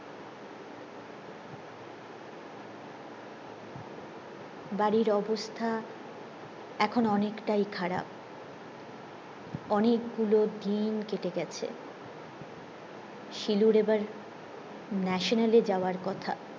বাড়ির অবস্থা এখন অনেকটাই খারাব অনেক গুলো দিন কেটে গেছে শিলুর এইবার ন্যাশনালে যাওয়ার কথা